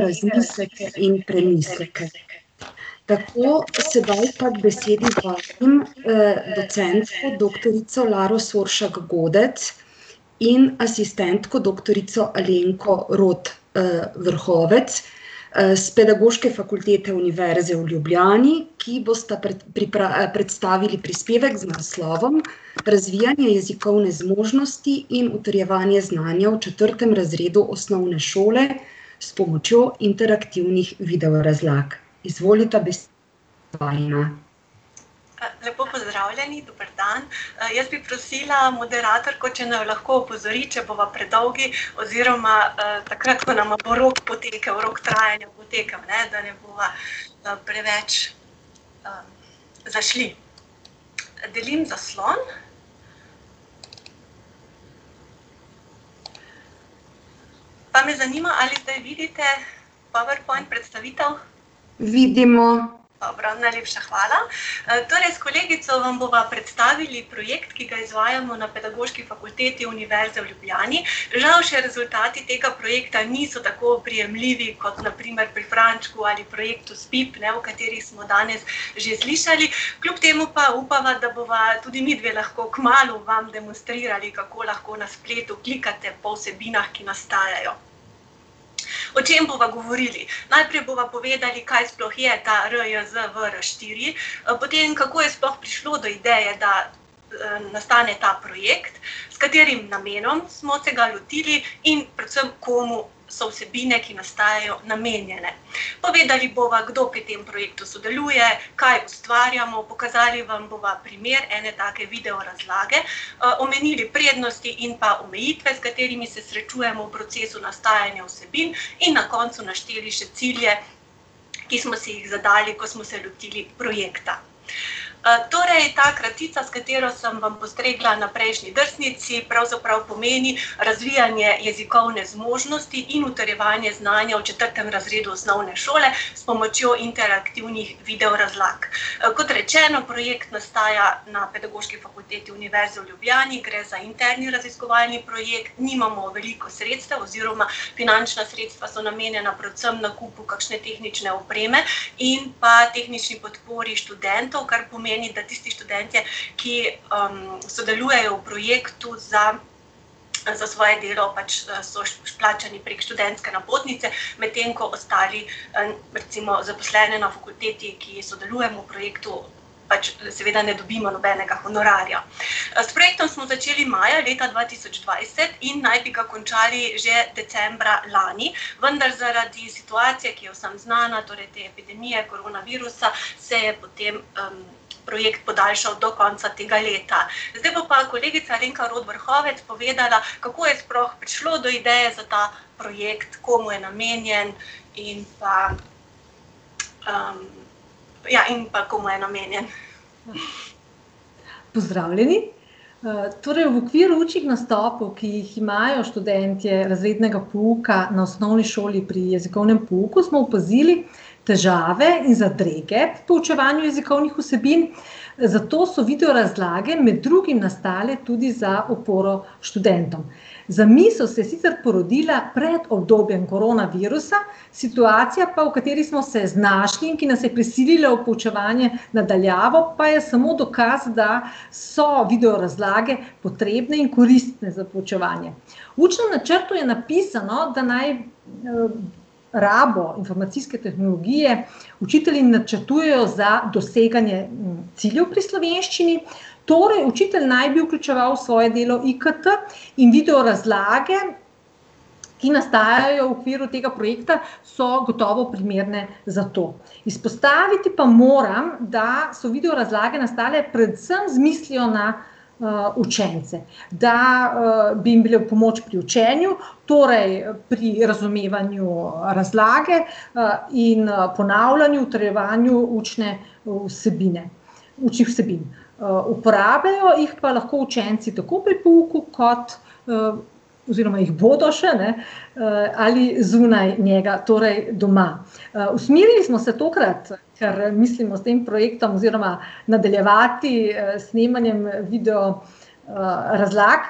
razmisleke in premisleke. Tako, sedaj pa k besedi vabim, docentko doktorico Laro Soršak Godec in asistentko doktorico Alenko Rot, Vrhovec, s Pedagoške fakultete Univerze v Ljubljani, ki bosta predstavili prispevek z naslovom Razvijanje jezikovne zmožnosti in utrjevanje znanja v četrtem razredu osnovne šole s pomočjo iterativnih video razlag. Izvolita ... vajina. lepo pozdravljeni, dober dan, jaz bi prosila moderatorko, če naju lahko opozori, če bova predolgi oziroma takrat, ko nama bo rok potekel, rok trajanja potekel, ne, da ne bova, preveč, zašli. Delim zaslon. Pa me zanima, ali zdaj vidite powerpoint predstavitev? Vidimo. Dobro, najlepša hvala. torej s kolegico vam bova predstavili projekt, ki ga izvajamo na Pedagoški fakulteti Univerze v Ljubljani, žal še rezultati tega projekta niso tako oprijemljivi, kot na primer pri Frančku ali projektu Spip, ne, o katerih smo danes že slišali, kljub temu pa upava, da bova tudi midve lahko kmalu vam demonstrirali, kako lahko na spletu klikate po vsebinah, ki nastajajo. O čem bova govorili? Najprej bova povedali, kaj sploh je ta RJZVR štiri, potem kako je sploh prišlo do ideje, da nastane ta projekt, s katerim namenom smo se ga lotili in predvsem komu so vsebine, ki nastajajo, namenjene. Povedali bova, kdo pri tem projektu sodeluje, kaj ustvarjamo, pokazali vam bova primer ene take video razlage, omenili prednosti in pa omejitve, s katerimi se srečujemo v procesu nastajanja vsebin, in na koncu našteli še cilje ki smo si jih zadali, ko smo se lotili projekta. torej ta kratica, s katero sem vam postregla na prejšnji drsnici, pravzaprav pomeni razvijanje jezikovne zmožnosti in utrjevanje znanja v četrtem razredu osnovne šole s pomočjo iterativnih video razlag. Kot rečeno, projekt nastaja na Pedagoški fakulteti Univerze v Ljubljani, gre za interni raziskovalni projekt, nimamo veliko sredstev oziroma finančna sredstva so namenjena predvsem nakupu kakšne tehnične opreme in pa tehnični podpori študentov, kar pa pomeni, da tisti študentje, ki, sodelujejo v projektu za, za svoje delo pač so plačani pred študentske napotnice, medtem ko ostali, recimo zaposlene na fakulteti, ki sodelujemo na projektu, pač seveda ne dobimo nobenega honorarja. s projektom smo začeli maja leta dva tisoč dvajset in naj bi ga končali že decembra lani, vendar zaradi situacije, ki je vsem znana, torej te epidemije koronavirusa, se je potem, projekt podaljšal do konca tega leta. Zdaj bo pa kolegica Alenka Rot Vrhovec povedala, kako je sploh prišlo do ideje za ta projekt, komu je namenjen in pa, ... Ja, in pa komu je namenjen. Pozdravljeni. torej v okviru učnih nastopov, ki jih imajo študentje razrednega pouka na osnovni šoli pri jezikovnem pouku, smo opazili težave in zadrege pri poučevanju jezikovnih vsebin, zato so video razlage med drugim nastale tudi za oporo študentom. Zamisel se je sicer porodila pred obdobjem koronavirusa, situacija pa, v kateri smo se znašli in ki nas je prisilila v poučevanje na daljavo, pa je samo dokaz, da so video razlage potrebne in koristne za poučevanje. V učnem načrtu je napisano, da naj, rabo informacijske tehnologije učitelji načrtujejo za doseganje ciljev pri slovenščini, torej učitelj naj bi vključeval svoje delo IKT in video razlage, ki nastajajo v okviru tega projekta, so gotovo primerne za to. Izpostaviti pa moram, da so video razlage nastale predvsem z mislijo na, učence, da, bi jim bile v pomoč pri učenju, torej pri razumevanju, razlage, in ponavljanju, utrjevanju učne vsebine, učnih vsebin. uporabljajo jih pa lahko učenci tako pri pouku kot, oziroma jih bodo še, ne, ali zunaj njega, torej doma. usmerili smo se tokrat, ker mislimo s tem projektom oziroma nadaljevati s snemanjem video, razlag,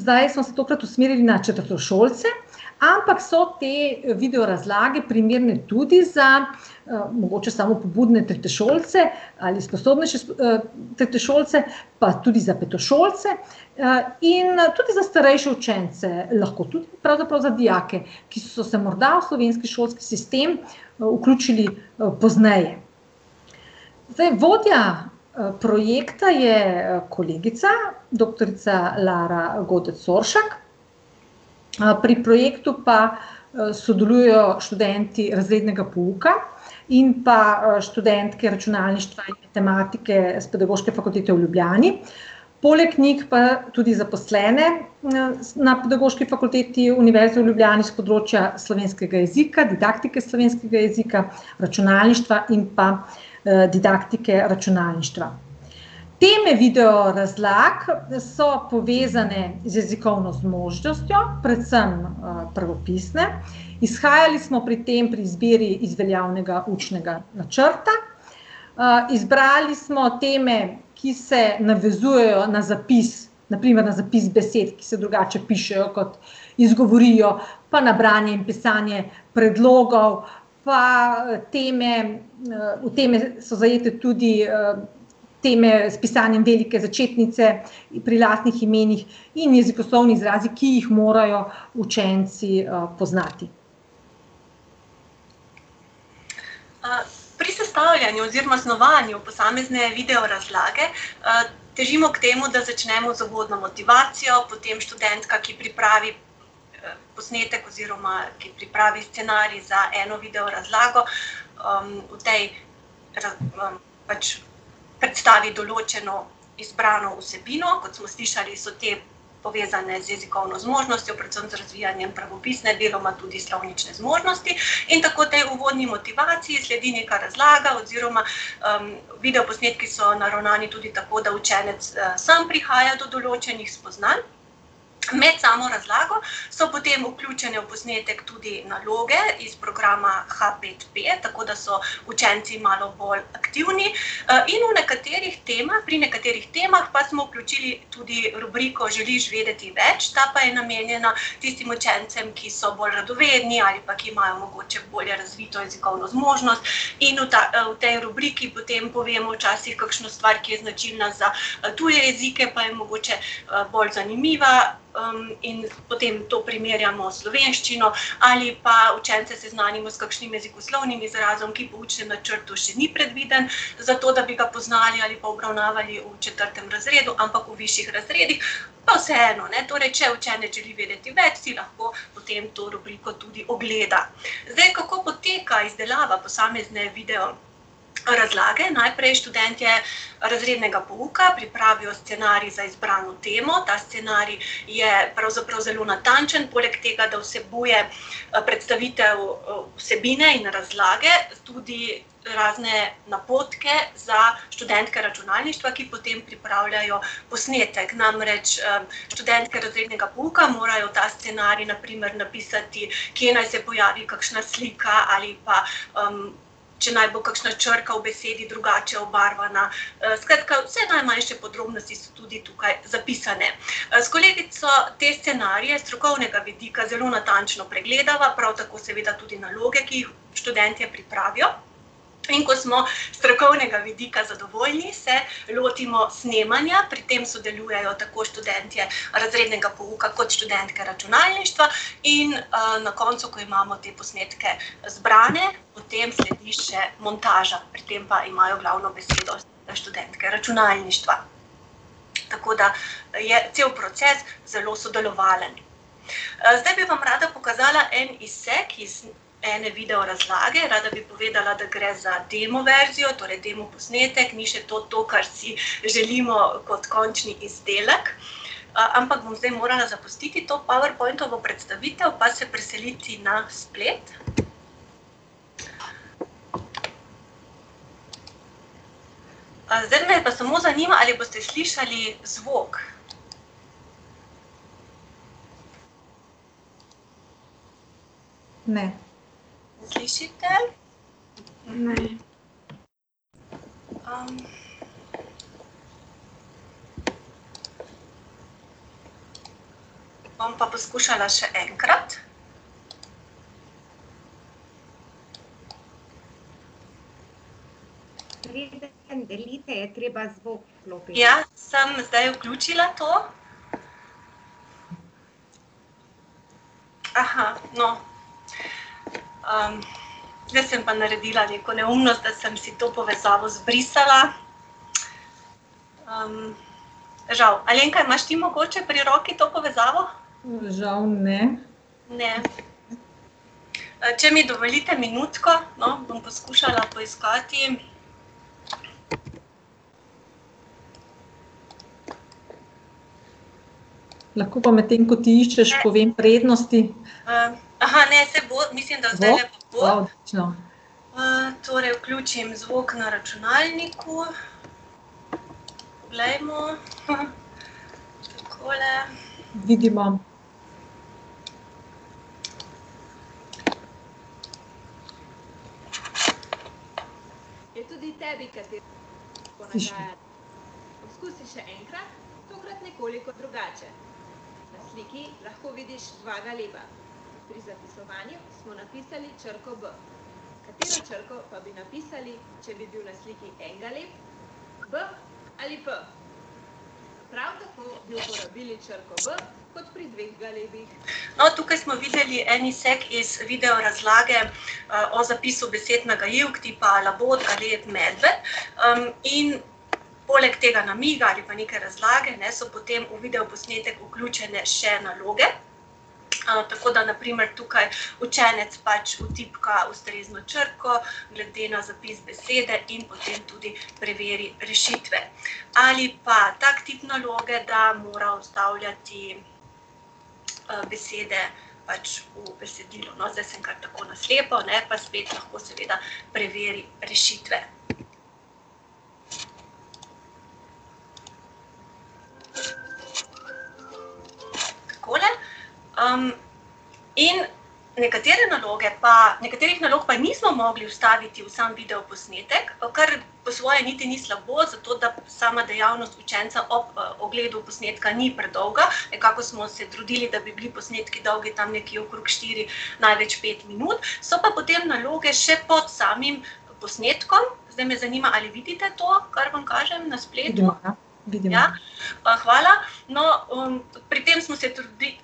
zdaj smo se tokrat usmerili na četrtošolce, ampak so te video razlage primerne tudi za, mogoče samopobudne tretješolce ali sposobnejše tretješolce, pa tudi za petošolce, in tudi za starejše učence, lahko tudi pravzaprav za dijake, ki so se morda v slovenski šolski sistem, vključili, pozneje. Zdaj, vodja, projekta je kolegica doktorica Lara Godec Soršak, pri projektu pa sodelujejo študenti razrednega pouka in pa, študentke računalništva in matematike s Pedagoške fakultete v Ljubljani. Poleg njih pa tudi zaposlene na na Pedagoški fakulteti Univerze v Ljubljani s področja slovenskega jezika, didaktike slovenskega jezika, računalništva in pa, didaktike računalništva. Teme video razlag so povezane z jezikovno zmožnostjo, predvsem, pravopisne, izhajali smo pri tem pri izbiri iz veljavnega učnega načrta, izbrali smo teme, ki se navezujejo na zapis, na primer na zapis besed, ki se drugače pišejo, kot izgovorijo, pa na branje in pisanje predlogov, pa teme, v teme so zajete tudi, teme s pisanjem velike začetnice pri lastnih imenih in jezikoslovni izrazi, ki jih morajo učenci, poznati. pri sestavljanju oziroma snovanju posamezne video razlage, težimo k temu, da začnemo uvodno motivacijo, potem študentka pripravi, posnetek oziroma ki pripravi scenarij za eno video razlago, v tej pač predstavi določeno izbrano vsebino, kot smo slišali, so te povezane z jezikovno zmožnostjo, predvsem z razvijanjem pravopisne, deloma tudi slovnične zmožnosti, in tako tej uvodni motivaciji sledi neka razlaga oziroma, video posnetki so naravnani tudi tako, da učenec, sam prihaja do določenih spoznanj. Med samo razlago so potem vključene v posnetek tudi naloge iz programa HapetPe, tako da so učenci malo bolj aktivni, in v nekaterih pri nekaterih temah pa smo vključili tudi rubriko Želiš vedeti več?, ta pa je namenjena tistim učencem, ki so bolj radovedni ali pa ki imajo bolje razvito jezikovno zmožnost, in v v tej rubriki potem povemo včasih kakšno stvar, ki je značilna za tuje jezike, pa je mogoče, bolj zanimiva, in potem to primerjamo s slovenščino ali pa učence seznanimo s kakšnim jezikoslovnim izrazom, ki po učnem načrtu še ni predviden, zato da bi ga poznali ali pa obravnavali v četrtem razredu, ampak v višjih razredih. Pa vseeno, ne, torej če učenec želi vedeti več, si lahko potem to rubriko tudi ogleda. Zdaj, kako poteka izdelava posamezne video razlage? Najprej študentje razrednega pouka pripravijo scenarij za izbrano temo, ta scenarij je pravzaprav zelo natančen poleg tega, da vsebuje, predstavitev, vsebine in razlage, tudi razne napotke za študentke računalništva, ki potem pripravljajo posnetek, namreč, študentke razrednega pouka morajo ta scenarij na primer napisati, kje naj se pojavi kakšna slika ali pa, če naj bo kakšna črka v besedi drugače obarvana, skratka, vse najmanjše podrobnosti so tukaj tudi zapisane. s kolegico te scenarije s strokovnega vidika zelo natančno pregledava, prav tako pa seveda tudi naloge, ki jih študentje pripravijo. In ko smo s strokovnega vidika zadovoljni, se lotimo snemanja, pri tem sodelujejo tako študentje razrednega pouka kot študentke računalništva in, na koncu, ko imamo te posnetke zbrane, potem sledi še montaža, pri tem pa imajo glavno besedo študentke računalništva. Tako da je cel proces zelo sodelovalen. zdaj bi vam rada pokazala en izsek iz ene video razlage, rada bi povedala, da gre za demo verzijo, torej demo posnetek, ni še to to, kar si želimo kot končni izdelek, ampak bom morala zdaj zapustiti to powerpointovo predstavitev pa se preseliti na splet. zdaj me pa samo zanima, ali boste slišali zvok. Ne slišite? Ne. ... Bom pa poskušala še enkrat. delajte, je treba zvok vklopiti. Ja, sem zdaj vključila to. no, ... Zdaj sem pa naredila neko neumnost, da sem si to povezavo zbrisala. ... Žal. Alenka, imaš ti mogoče pri roki to povezavo? Žal ne. Ne. če mi dovolite minutko, no, bom poskušala poiskati ... Lahko pa, medtem ko ti iščeš, povem prednosti ... ne, saj bo, mislim, da zdajle bo. Bo? Odlično. torej vključim zvok na računalniku. Poglejmo. Takole. Vidimo. No, tukaj smo videli en izsek iz video razlage, o zapisu besed nagajivk tipa labod, galeb, medved, in poleg tega namiga ali pa neke razlage, ne, so potem v videoposnetek vključene še naloge. tako da na primer tukaj učenec pač vtipka ustrezno črko glede na zapis besede in potem tudi preveri rešitve. Ali pa tak tip naloge, da mora vstavljati, besede pač v besedilo, no, zdaj sem kar tako na slepo, pa spet, no, lahko seveda preverim rešitve. Takole. ... In nekatere naloge pa, nekaterih nalog pa nismo mogli vstaviti v sam videoposnetek, pa kar po svoje niti ni slabo, zato da sama dejavnost učenca ob, ogledu posnetka ni predolga, nekako smo se trudili, da bi bili posnetki dolgi tam nekje okrog štiri, največ pet minut, so pa potem naloge še pod samim posnetkom. Zdaj me zanima, ali vidite to, kar vam kažem na spletu? Ja. hvala, no, pri tem smo se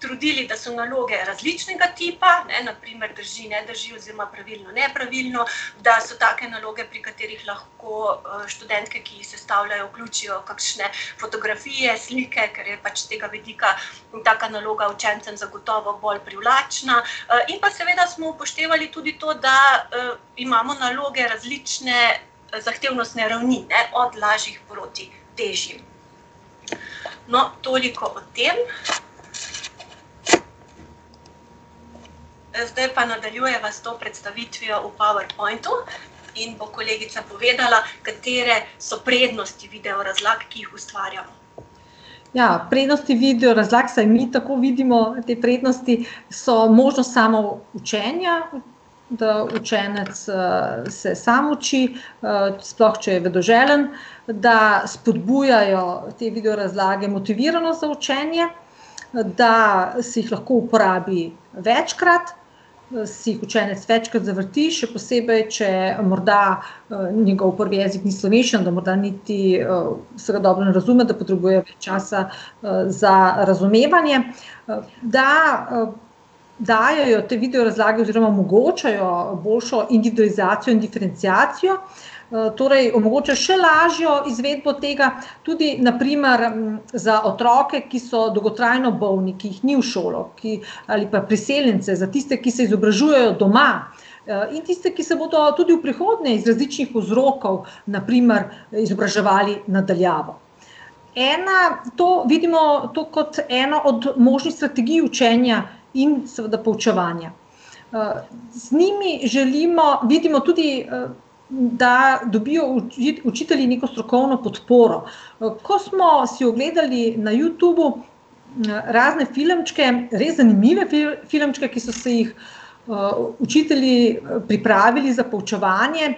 trudili, da so naloge različnega tipa, ne, na primer drži, ne drži oziroma pravilno, nepravilno, da so take naloge, pri katerih lahko, študentke, ki jih sestavljajo, vključijo kakšne fotografije, slike, ker je pač s tega vidika taka naloga učencem zagotovo bolj privlačna, in pa seveda smo upoštevali tudi to, da, imamo naloge različne zahtevnostne ravni, ne, od lažjih proti težjim. No, toliko o tem. zdaj pa nadaljujeva s to predstavitvijo v powerpointu in bo kolegica povedala, katere so prednosti video razlag, ki jih ustvarjamo. Ja, prednosti video razlag, vsaj mi takoj vidimo te prednosti, so možnost samoučenja, da učenec, se sam uči, sploh, če je vedoželjen, da spodbujajo te video razlage motiviranost za učenje, da se jih lahko uporabi večkrat, si jih učenec večkrat zavrti, še posebej, če morda njegov prvi jezik ni slovenščina, da morda niti, vsega dobro ne razume, da potrebuje čas za, za razumevanje, da, dajejo te video razlage oziroma omogočajo boljšo individualizacijo in diferenciacijo, torej omogočajo še lažjo izvedbo tega, tudi na primer, za otroke, ki so dolgotrajno bolni, ki jih ni v šolo, ki ... Ali pa priseljence, za tiste, ki se izobražujejo doma, in tiste, ki se bodo tudi v prihodnje iz različnih vzrokov, na primer, izobraževali na daljavo. Ena ... To vidimo, to kot eno od možnih strategij učenja in seveda poučevanja. z njimi želimo, vidimo tudi, da dobijo učitelji neko strokovno podporo, ko smo si ogledali na Youtubu, razne filmčke, res zanimive filmčke, ki so si jih, učitelji pripravili za poučevanje,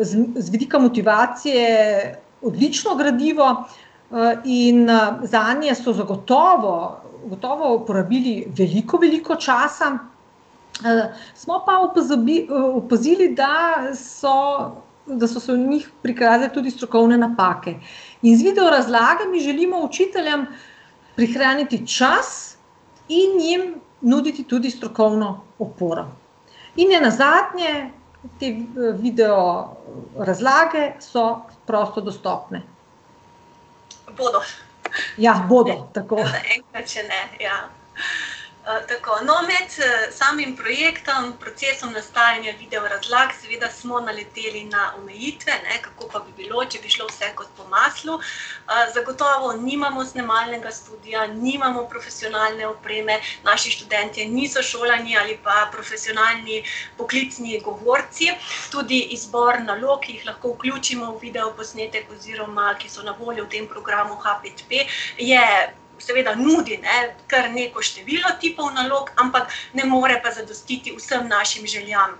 z z vidika motivacije odlično gradivo, in, zanje so zagotovo, gotovo uporabili veliko, veliko časa, smo pa opazili, da so, da so se v njih prikradle tudi strokovne napake. In z video razlagami želimo učiteljem prihraniti čas in jim nuditi tudi strokovno oporo. In nenazadnje te, video razlage so prosto dostopne. Bodo. Ja, bodo, tako. Zaenkrat še ne, ja. tako, no, med, samim projektom, procesom nastajanja video razlag, seveda smo naleteli na omejitve, ne, kako pa bi bilo, če bi šlo vse kot po maslu. zagotovo nimamo snemalnega studia, nimamo profesionalne opreme, naši študentje niso šolani ali pa profesionalni poklicni govorci, tudi izbor nalog, ki jih lahko vključimo v video posnetek oziroma ki so na voljo v tem programu HPetP, je, seveda nudi, ne, kar lepo število tipov nalog, ampak ne more pa zadostiti vsem našim željam.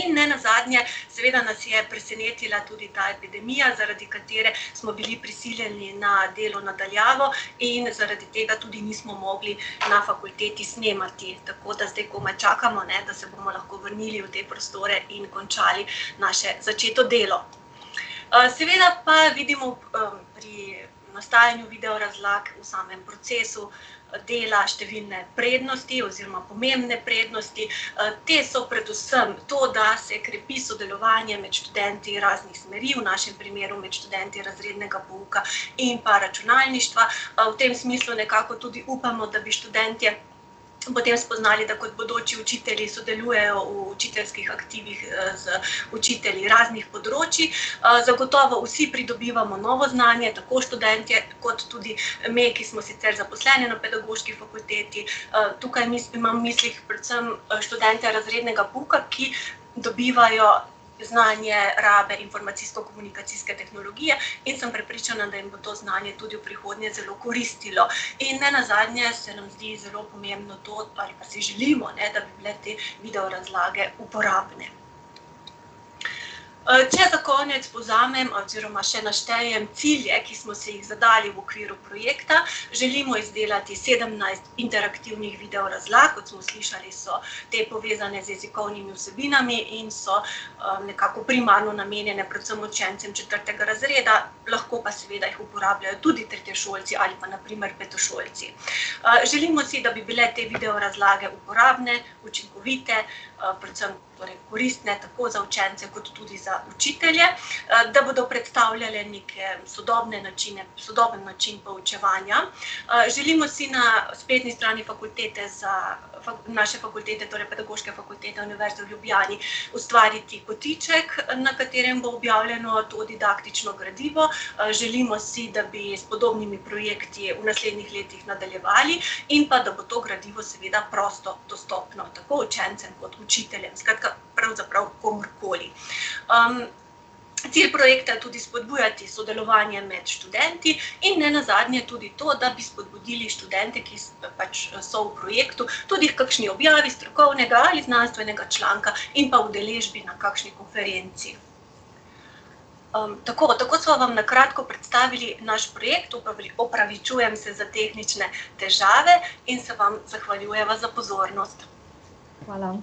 in nenazadnje, seveda nas je presenetila tudi ta epidemija, zaradi katere smo bili prisiljeni na delo na daljavo in zaradi tega tudi nismo mogli na fakulteti snemati. Tako da zdaj komaj čakamo, ne, da se bomo lahko vrnili v te prostore in končali naše začeto delo. seveda pa vidimo, pri nastajanju video razlag v samem procesu dela številne prednosti oziroma pomembne prednosti, te so predvsem to, da se krepi sodelovanje med študenti raznih smeri, v našem primeru med študenti razrednega pouka in pa računalništva, v tem smislu nekako tudi upamo, da bi študentje potem spoznali, da kot bodoči učitelji sodelujejo v učiteljskih aktivih, z raznih področij, zagotovo vsi pridobivamo novo znanje, tako študentje kot tudi me, ki smo sicer zaposlene na Pedagoški fakulteti, tukaj imam v mislih predvsem študente razrednega pouka, ki dobivajo znanje rabe informacijsko-komunikacijske tehnologije in sem prepričana, da jim bo to znanje tudi v prihodnje zelo koristilo. In nenazadnje se nam zdi zelo pomembno to, ali pa si želimo, ne, da le-te video razlage uporabne. če za konec povzamem oziroma še naštejem cilje, ki smo si jih zadali v okviru projekta: želimo izdelati sedemnajst iterativnih video razlag, kot smo slišali, so te povezane z jezikovnimi vsebinami in so, nekako primarno namenjene predvsem učencem četrtega razreda, lahko pa seveda jih uporabljajo tudi tretješolci ali pa na primer petošolci. želimo si, da bi bile te video razlage uporabne, učinkovite, predvsem torej koristne, tako za učence kot tudi za učitelje, da bodo predstavljale neke sodobne načine, sodoben način poučevanja, želimo si na spletni strani fakultete za ... naše fakultete, torej Pedagoške Fakultete Univerze v Ljubljani ustvariti kotiček, na katerem bo objavljeno to didaktično gradivo, želimo si, da bi s podobnimi projekti v naslednjih letih nadaljevali in pa da bo to gradivo seveda prosto dostopno, tako učencem kot učiteljem, skratka, pravzaprav, komurkoli. cilj projekta je tudi spodbujati sodelovanje med študenti in nenazadnje tudi to, da bi spodbudili študente, ki so pač, so v projektu, tudi h kakšni objavi strokovnega ali znanstvenega članka in pa udeležbi na kakšni konferenci. tako, tako sva vam na kratko predstavili naš projekt, opravičujem se za tehnične težave in se vam zahvaljujeva za pozornost. Hvala.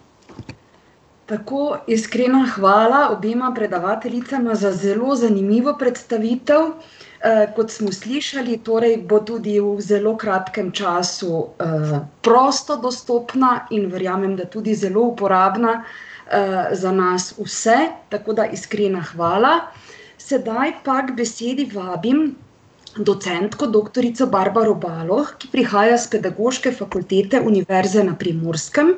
Tako, iskrena hvala obema predavateljicama za zelo zanimivo predstavitev. kot smo slišali, torej bo tudi v zelo kratkem času, prosto dostopna in verjamem, da tudi zelo uporabna, za nas vse, tako da iskrena hvala. Sedaj pa k besedi vabim docentko doktorico Barbaro Baloh, ki prihaja s Pedagoške fakultete Univerze na Primorskem